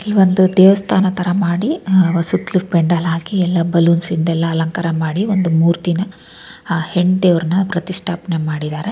ಈ ಒಂದು ದೇವಸ್ಥಾನ ತರ ಮಾಡಿ ಅಹ್ ಸುತ್ತಲೂ ಪೆಂಡಾಲ್ ಹಾಕಿ ಯಲ್ಲಾ ಬಲ್ಲೋನ್ಸ್ ಇಂದ ಯಲ್ಲಾ ಅಲಂಕಾರ ಮಾಡಿ ಒಂದು ಮೂರ್ತಿನಾ ಹೆಣ್ಣ್ ದೆವ್ರ್ನಾ ಪ್ರತಿಷ್ಠಾಪನೆ ಮಾಡಿದ್ದಾರೆ.